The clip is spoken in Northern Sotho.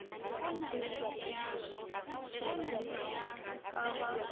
ipotšišeng ge e ka ba